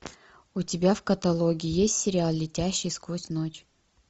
у тебя в каталоге есть сериал летящий сквозь ночь